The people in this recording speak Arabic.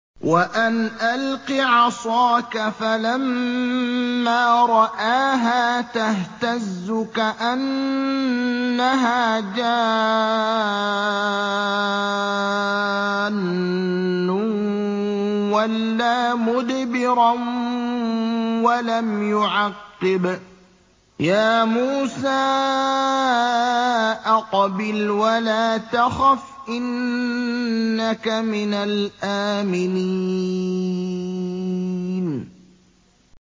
وَأَنْ أَلْقِ عَصَاكَ ۖ فَلَمَّا رَآهَا تَهْتَزُّ كَأَنَّهَا جَانٌّ وَلَّىٰ مُدْبِرًا وَلَمْ يُعَقِّبْ ۚ يَا مُوسَىٰ أَقْبِلْ وَلَا تَخَفْ ۖ إِنَّكَ مِنَ الْآمِنِينَ